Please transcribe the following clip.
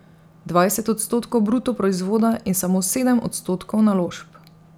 Dvajset odstotkov bruto proizvoda in samo sedem odstotkov naložb.